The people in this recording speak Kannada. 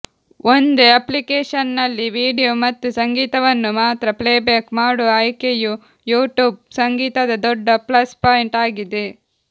ಒಂದೇ ಅಪ್ಲಿಕೇಶನ್ನಲ್ಲಿ ವೀಡಿಯೊ ಮತ್ತು ಸಂಗೀತವನ್ನು ಮಾತ್ರ ಪ್ಲೇಬ್ಯಾಕ್ ಮಾಡುವ ಆಯ್ಕೆಯು ಯೂಟ್ಯೂಬ್ ಸಂಗೀತದ ದೊಡ್ಡ ಪ್ಲಸ್ ಪಾಯಿಂಟ್ ಆಗಿದೆ